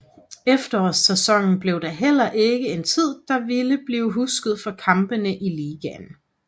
Efterårssæsonnen blev da heller ikke en tid der ville blive husket for kampene i ligaen